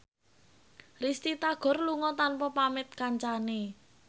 Risty Tagor lunga tanpa pamit kancane